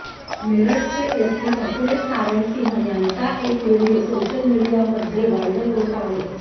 मेरठचे SP Akhilesh Narayan Singh यांचा एक video social मीडियामध्ये वायरल होत आहे